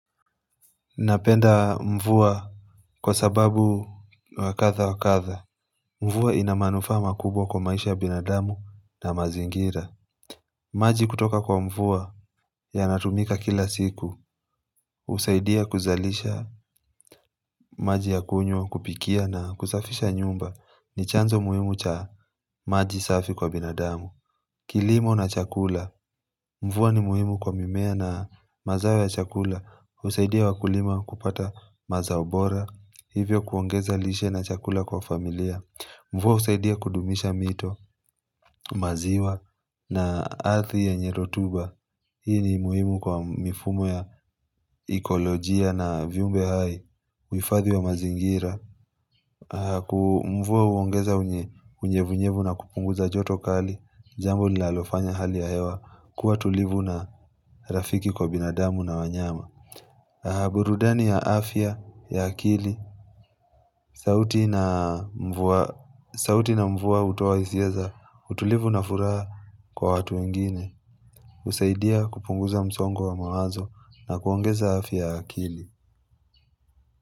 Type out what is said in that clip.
Napenda mvua kwa sababu wakadhawakadha. Mvua ina manufaa makubwa kwa maisha ya binadamu na mazingira. Maji kutoka kwa mvua yanatumika kila siku. Husaidia kuzalisha maji ya kunywa, kupikia na kusafisha nyumba. Ni chanzo muhimu cha maji safi kwa binadamu. Kilimo na chakula. Mvua ni muhimu kwa mimea na mazao ya chakula. Husaidia wakulima kupata mazao bora. Hivyo, kuongeza lishe na chakula kwa familia. Mvua husaidia kudumisha mito, maziwa na ardhi yenye rotuba. Hii ni muhimu kwa mifumo ya ikolojia na viumbe hai. Uhifadhi wa mazingira. Mvua huongeza unyevunyevu na kupunguza joto kali, jambo linalofanya hali ya hewa kuwa tulivu na rafiki kwa binadamu na wanyama. Burudani ya afya ya akili sauti ya mvua hutoa hisia za utulivu na furaha kwa watu wengine. Husaidia kupunguza msongo wa mawazo na kuongeza afya ya akili.